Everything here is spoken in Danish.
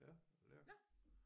Ja lærk